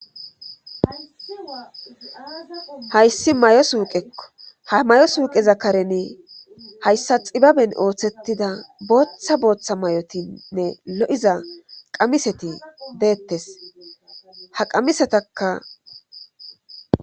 Hayssi may7o suuqekko ha may7o suuqezakaren hayssa xibaben ooththetida booththa booththa may7otinnne lo7iza qamiseti deettes ha qamisetaka.